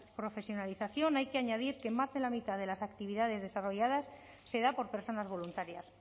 profesionalización hay que añadir que más de la mitad de las actividades desarrolladas se da por personas voluntarias